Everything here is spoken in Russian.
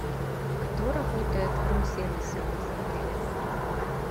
кто работает в рум сервисе у вас в отеле